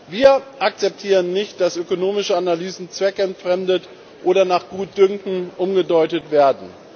Wir akzeptieren nicht, dass ökonomische Analysen zweckentfremdet oder nach Gutdünken umgedeutet werden.